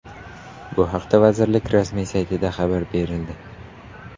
Bu haqda vazirlik rasmiy saytida xabar berildi .